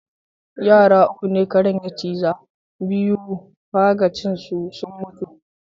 Yara uku ne karen ya ciza, biyu faga ciinsu sun mutu.